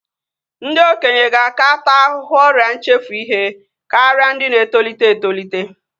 Ndị okenye ga-aka taa ahụhụ ọrịa nchefu ihe karịa ndị na-etolite etolite